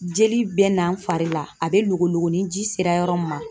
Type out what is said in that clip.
Jeli bɛ n'an fari la, a bɛ logo logo ni ji sera yɔrɔ min ma.